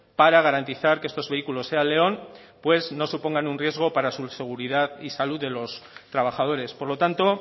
para garantizar que estos vehículos seat león no supongan un riesgo para la seguridad y salud de los trabajadores por lo tanto